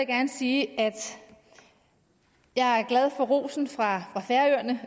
gerne sige at jeg er glad for rosen fra færøerne